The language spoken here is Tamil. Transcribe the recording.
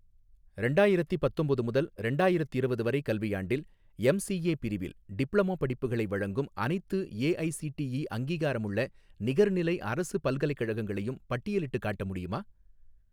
ரெண்டாயிரத்தி பத்தொம்போது முதல் ரெண்டாயிரத்திரவது வரை கல்வியாண்டில், எம்சிஏ பிரிவில் டிப்ளமோ படிப்புகளை வழங்கும் அனைத்து ஏஐசிடிஇ அங்கீகாரமுள்ள நிகர்நிலை அரசு பல்கலைக்கழகங்களையும் பட்டியலிட்டுக் காட்ட முடியுமா?